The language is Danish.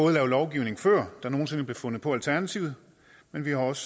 er lavet lovgivning før der nogen sinde blev fundet på alternativet men vi har også